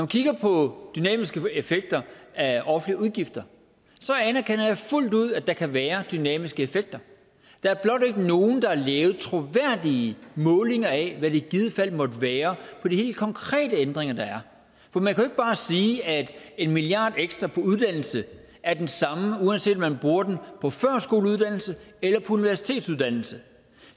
kigger på dynamiske effekter af offentlige udgifter anerkender jeg fuldt ud at der kan være dynamiske effekter der er blot ikke nogen der har lavet troværdige målinger af hvad det i givet fald måtte være for de helt konkrete ændringer der er for man kan ikke bare sige at en milliard ekstra på uddannelse er den samme uanset om man bruger den på førskoleuddannelse eller på universitetsuddannelse